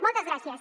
moltes gràcies